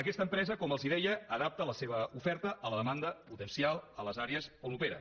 aquesta empresa com els deia adapta la seva oferta a la demanda potencial a les àrees on opera